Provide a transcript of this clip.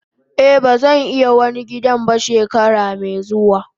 Eh bazan yi wani gidan ba shekarar me zuwa.